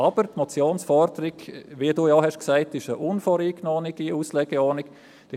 Aber die Motionsforderung ist eine unvoreingenommene Auslegeordnung, wie auch du sagtest.